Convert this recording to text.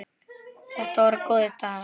Þetta voru góðir dagar.